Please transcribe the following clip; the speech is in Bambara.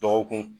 Dɔgɔkun